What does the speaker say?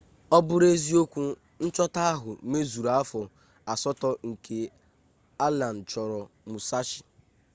ọ bụrụ eziokwu nchọta ahụ mezuru afọ asatọ nke allen chọrọ musashi